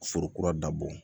Foro kura dabɔ